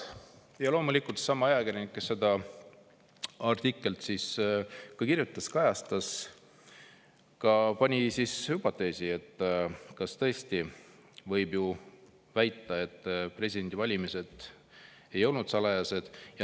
Ja loomulikult sama ajakirjanik, kes selle artikli kirjutas, seda kajastas, hüpoteesi, et kas tõesti võib väita, et presidendivalimised ei olnud salajased.